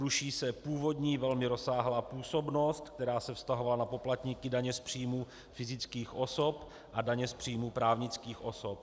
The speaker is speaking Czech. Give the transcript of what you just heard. Ruší se původní velmi rozsáhlá působnost, která se vztahovala na poplatníky daně z příjmů fyzických osob a daně z příjmů právnických osob.